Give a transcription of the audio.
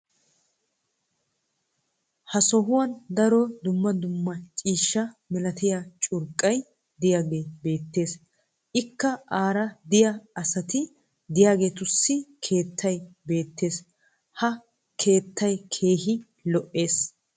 ha sohuwan daro dumma dumma ciishsha malayttiya curqqay diyaagee beetees. ikka aara diya asati diyaageetussi keettay beetees. ha keettay keehi lo'ees.